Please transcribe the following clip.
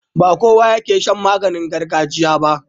Ba kowa yake shan maganin gargajiya ba.